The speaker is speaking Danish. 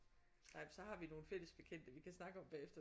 Nej men så har vi nogle fælles bekendte vi kan snakke om bagefter